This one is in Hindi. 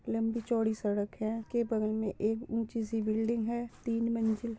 लंबी चौड़ी सड़क है उसके बगल में एक ऊँची सी बिल्डिंग है तीन मंजिल --